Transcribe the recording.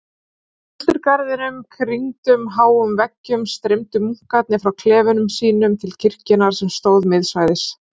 Í klausturgarðinum, kringdum háum veggjum, streymdu munkarnir frá klefum sínum til kirkjunnar sem stóð miðsvæðis.